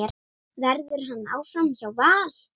Verður hann áfram hjá Val?